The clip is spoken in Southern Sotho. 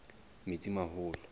metsimaholo